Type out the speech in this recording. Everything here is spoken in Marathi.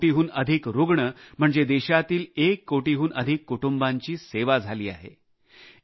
एक कोटींहून अधिक रुग्ण म्हणजे देशातील एक कोटीहून अधिक कुटुंबांची सेवा झाली आहे